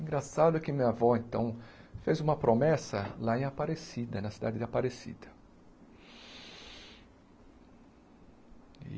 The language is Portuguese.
Engraçado que minha avó, então, fez uma promessa lá em Aparecida, na cidade de Aparecida.